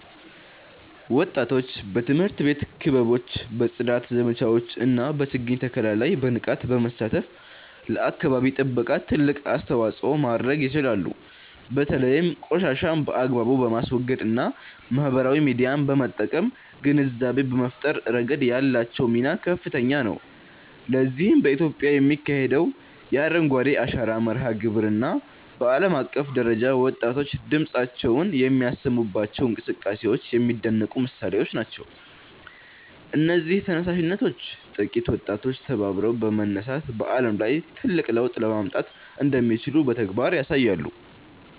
ወጣቶች በትምህርት ቤት ክበቦች፣ በጽዳት ዘመቻዎች እና በችግኝ ተከላ ላይ በንቃት በመሳተፍ ለአካባቢ ጥበቃ ትልቅ አስተዋጽኦ ማድረግ ይችላሉ። በተለይም ቆሻሻን በአግባቡ በማስወገድ እና ማህበራዊ ሚዲያን በመጠቀም ግንዛቤ በመፍጠር ረገድ ያላቸው ሚና ከፍተኛ ነው። ለዚህም በኢትዮጵያ የሚካሄደው የ"አረንጓዴ አሻራ" መርሃ ግብር እና በዓለም አቀፍ ደረጃ ወጣቶች ድምፃቸውን የሚያሰሙባቸው እንቅስቃሴዎች የሚደነቁ ምሳሌዎች ናቸው። እነዚህ ተነሳሽነቶች ጥቂት ወጣቶች ተባብረው በመነሳት በዓለም ላይ ትልቅ ለውጥ ማምጣት እንደሚችሉ በተግባር ያሳያሉ